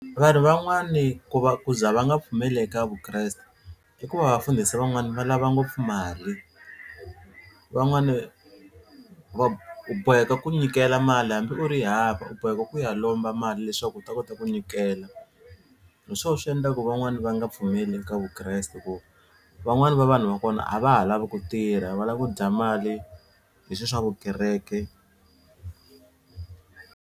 Vanhu van'wani ku va ku za va nga pfumeli eka Vukreste i ku va vafundhisi van'wani va lava ngopfu mali van'wani va u boheka ku nyikela mali hambi u ri hava u boheka ku ya lomba mali leswaku u ta kota ku nyikela hi swona swi endla ku van'wani va nga pfumeli eka Vukreste ku van'wani va vanhu va kona a va ha lavi ku tirha va lava ku dya mali hi swi swa vukereke.